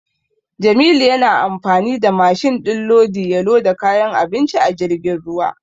Jamilu yana amfani da mashin din lodi ya loda kayan abinci a jirgin ruwa.